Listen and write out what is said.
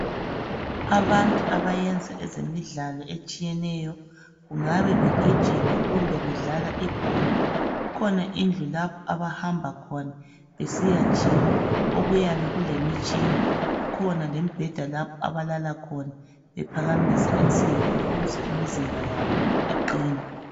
Abantu abayenza ezemidlalo etshiyeneyo kungabe begijima kumbe bedlala ibhola kukhona indlu lapho abahamba khona besiya jima. Okuyabe kulemitshina. Kukhona lembheda lapho abalala khona bephakamisa insimbi ukuze imizimba yabo iqine.